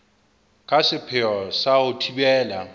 ka sepheo sa ho thibela